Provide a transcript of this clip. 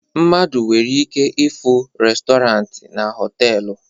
Mmadụ nwere ike ịfụ restọrant na họtelu